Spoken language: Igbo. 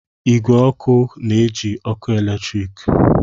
Igwe ọkụ na-eji ọkụ eletrik